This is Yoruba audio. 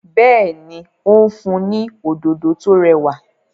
béèni o n fun ní Òdòdó tó rẹwà.